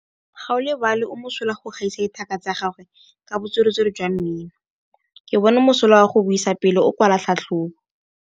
Gaolebalwe o mosola go gaisa dithaka tsa gagwe ka botswerere jwa mmino. Ke bone mosola wa go buisa pele o kwala tlhatlhobô.